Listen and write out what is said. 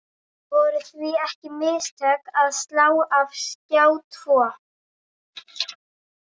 Voru því ekki mistök að slá af Skjá tvo?